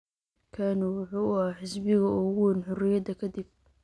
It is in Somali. KANU wuxuu ahaa xisbiga ugu weyn xoriyada ka dib.